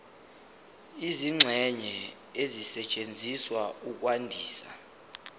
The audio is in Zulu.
izingxenye ezisetshenziswa ukwandisa